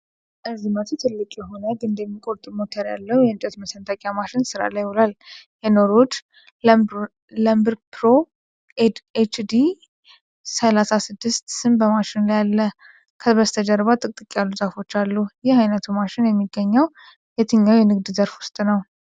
ርዝመቱ ትልቅ የሆነ ግንድ የሚቆርጥ ሞተር ያለው የእንጨት መሰንጠቂያ ማሽን ሥራ ላይ ውሏል። የ"ኖርውድ ለምበርፕሮ ኤችዲ ሠላሳ ስድስት" ስም በማሽኑ ላይ አለ። ከበስተጀርባ ጥቅጥቅ ያሉ ዛፎች አሉ። ይህ አይነቱ ማሽን የሚገኘው የትኛው የንግድ ዘርፍ ውስጥ ነው?